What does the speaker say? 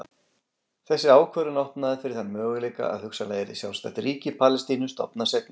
Þessi ákvörðun opnaði fyrir þann möguleika að hugsanlega yrði sjálfstætt ríki Palestínu stofnað seinna.